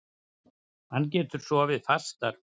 Hann getur sofnað fastar.